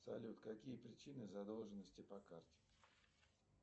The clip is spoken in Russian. салют какие причины задолженности по карте